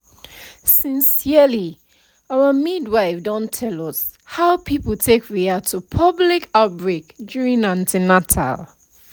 sincerely our midwife don tell us how people take react to public outbreak during an ten atal